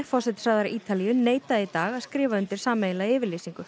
forsætisráðherra Ítalíu neitaði í dag að skrifa undir sameiginlega yfirlýsingu